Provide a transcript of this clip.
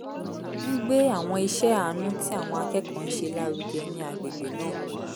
ń gbé àwọn iṣẹ́ àánú tí àwọn akẹ́kọ̀ọ́ ń ṣe lárugẹ ní agbègbè náà